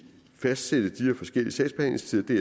fastsætte de her forskellige sagsbehandlingstider det